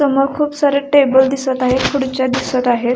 समोर खूप सारे टेबल दिसत आहेत खुडच्या दिसत आहेत.